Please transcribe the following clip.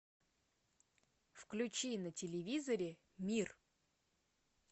включи на телевизоре мир